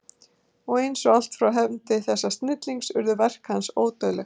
Og eins og allt frá hendi þessa snillings urðu verk hans ódauðleg.